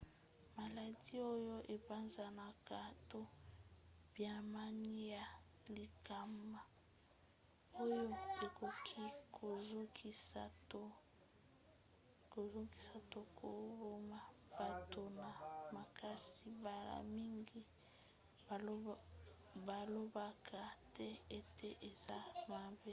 maladi oyo epanzanaka to banyama ya likama oyo ekoki kozokisa to koboma bato na makasi mbala mingi balobaka te ete eza mabe